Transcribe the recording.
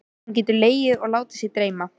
Hún getur legið og látið sig dreyma.